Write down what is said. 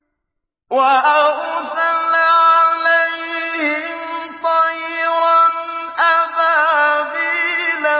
وَأَرْسَلَ عَلَيْهِمْ طَيْرًا أَبَابِيلَ